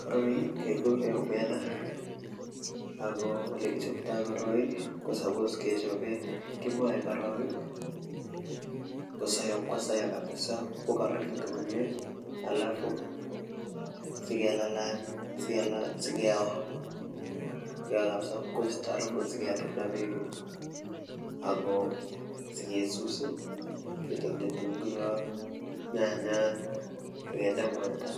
Koroi kekure omena ako olekichoptoi koroi ko suppose kechobe kimae korok kosoiyo ipkosoiyo kabisa ipkokararanitu komie alafu sikelalany sikeo ipkoisto aruput sikeranda beek ako sikesus ketonji kitunguiyot nyanyat akende mwaita